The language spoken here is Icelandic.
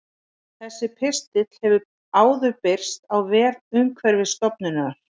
Þessi pistill hefur áður birst á vef Umhverfisstofnunar.